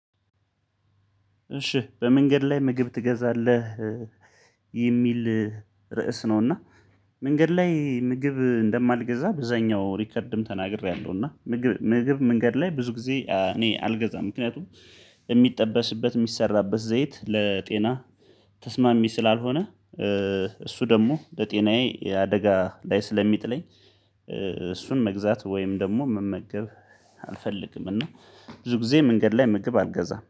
እሺ በመንገድ ላይ ምግብ ትገዛለህ የሚል ርዕስ ነው? እና መንገድ ላይ ምግብ እንደማልገዛ ብዙኛው ሪከርድም ተናግሬያለሁ። እና ምግብ ምግብ መንገድ ላይ ብዙ ጊዜ እኔ አልገዛም። ምክንያቱም የሚጠበስበት የሚሰራበት ዘይት ለጤና ተስማሚ ስላልሆነ። እሱ ደግሞ ለጤናዬ አደጋ ላይ ስለሚጥለኝ እሱን መግዛት ወይም ደግሞ መመገብ አልፈልግም። እና ብዙ ጊዜ መንገድ ላይ መገብ አልገዛም